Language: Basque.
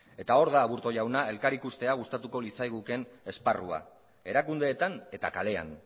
eta hor da aburto jauna elkar ikuste hau ikustea gustatuko litzaigukeen esparrua erakundeetan eta kalean